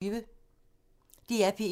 DR P1